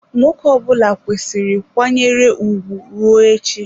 Nwoke ọbụla kwesiri kwanyere ugwu rue echi.